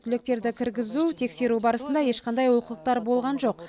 түлектерді кіргізу тексеру барысында ешқандай олқылықтар болған жоқ